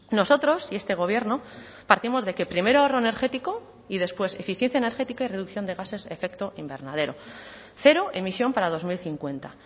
nosotros y este gobierno partimos de que primero ahorro energético y después eficiencia energética y reducción de gases efecto invernadero cero emisión para dos mil cincuenta